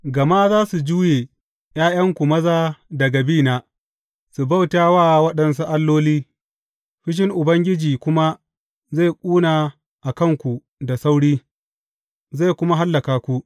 Gama za su juye ’ya’yanku maza daga bina, su bauta waɗansu alloli, fushin Ubangiji kuma zai ƙuna a kanku da sauri, zai kuma hallaka ku.